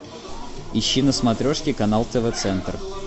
ищи на смотрешке канал тв центр